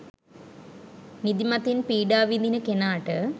නිදිමතින් පීඩා විඳින කෙනාට